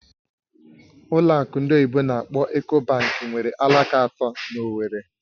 Ụlọ akụ ndị oyibo n'akpọ "Eco bank" nwere alaka atọ na Owerri